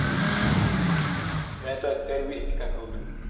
મેં તો અત્યાર પણ હીચકા ખાઉં છે